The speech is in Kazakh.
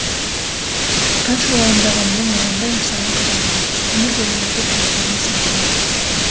қанша уайымдағанмен ойланбай жасаған қадамның өмір бойы опық жегізеріне сенген еді